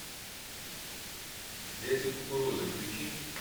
дети кукурузы включи